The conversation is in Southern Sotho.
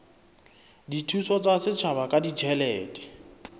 dithuso tsa setjhaba ka ditjhelete